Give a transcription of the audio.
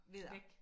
væk